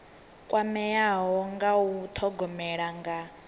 kwameaho nga u thogomela nga